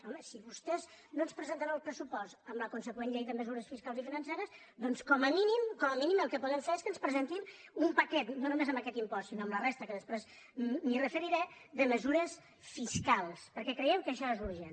home si vostès no ens presenten el pressupost amb la consegüent llei de mesures fiscals i financeres doncs com a mínim com a mínim el que podem fer és que ens presentin un paquet no només amb aquest impost sinó amb la resta que després m’hi referiré de mesures fiscals perquè creiem que això és urgent